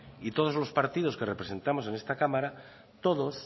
y todos los partidos que representamos en esta cámara todos